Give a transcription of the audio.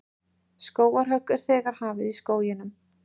Skógarhögg er þegar hafið í skóginum